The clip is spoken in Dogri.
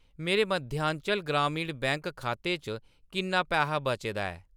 मेरे मध्यांचल ग्रामीण बैंक खाते च किन्ना पैहा बचे दा ऐ ?